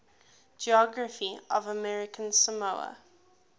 geography of american samoa